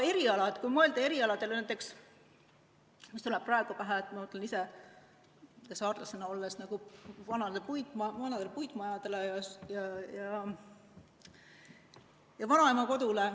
Kui mõelda erialadele, näiteks mis tuleb mulle saarlasena praegu pähe, on vanad puitmajad, vanaema kodu.